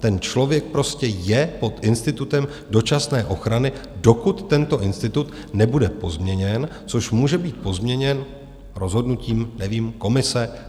Ten člověk prostě je pod institutem dočasné ochrany, dokud tento institut nebude pozměněn, což může být pozměněn rozhodnutím, nevím, Komise?